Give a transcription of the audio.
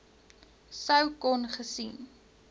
sou kon gesien